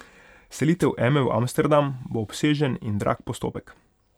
Selitev Eme v Amsterdam bo obsežen in drag postopek.